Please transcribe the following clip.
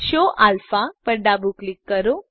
show alpha પર ફરીથી ડાબું ક્લિક કરો